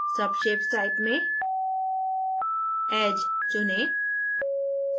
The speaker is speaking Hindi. subshapes type में edge चुनें